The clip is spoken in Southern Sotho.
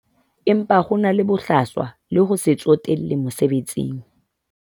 Empa ho na le bohlaswa le ho se tsotelle mosebetsing.